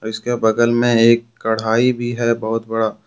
उसके बगल में एक कढाई भी है बहुत बड़ा।